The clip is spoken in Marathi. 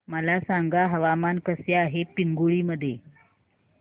मला सांगा हवामान कसे आहे पिंगुळी मध्ये